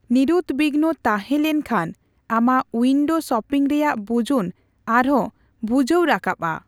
ᱱᱤᱨᱩᱫᱵᱤᱜᱱᱚ ᱛᱟᱦᱮᱸ ᱞᱮᱱᱠᱷᱟᱱ ᱟᱢᱟᱜ ᱩᱭᱤᱱᱰᱳ ᱥᱚᱯᱤᱝ ᱨᱮᱭᱟᱜ ᱵᱩᱡᱩᱱ ᱟᱨᱦᱚᱸ ᱵᱷᱩᱡᱷᱟᱹᱣ ᱨᱟᱠᱟᱵᱽᱼᱟ ᱾